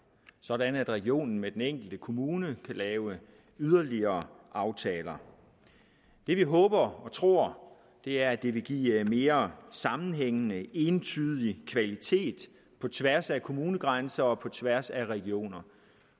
sådan at regionen med den enkelte kommune kan lave yderligere aftaler det vi håber og tror er at det vil give mere sammenhængende entydig kvalitet på tværs af kommunegrænser og på tværs af regioner